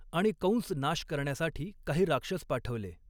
आणि कऺस नाश करण्यासाठी काही राक्षस पाठवले.